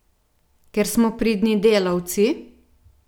Ker smo pridni delavci?